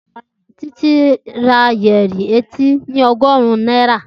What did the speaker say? Titi ra yẹrí etí ni ọgọrun naira.